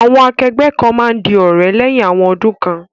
Àwon akẹgbẹ́ kan ma n di òrẹ́ léyhin awon odún kan